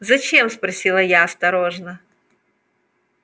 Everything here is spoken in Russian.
зачем спросила я осторожно